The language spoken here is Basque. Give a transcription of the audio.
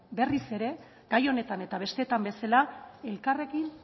berriz ere gai honetan eta besteetan bezala elkarrekin